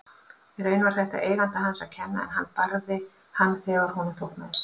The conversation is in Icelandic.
Í raun var þetta eiganda hans að kenna en hann barði hann þegar honum þóknaðist.